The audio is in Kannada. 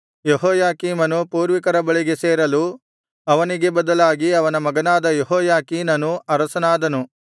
ಯೆಹೋಯಾಕೀಮನು ಪೂರ್ವಿಕರ ಬಳಿಗೆ ಸೇರಲು ಅವನಿಗೆ ಬದಲಾಗಿ ಅವನ ಮಗನಾದ ಯೆಹೋಯಾಖೀನನು ಅರಸನಾದನು